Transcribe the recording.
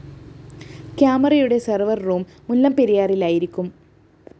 ക്യാമറയുടെ server room മുല്ലപ്പെരിയാറിലായിരിക്കും